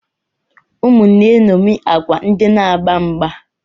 Ụmụ na-eṅomie agwa ndị na-agba mgba.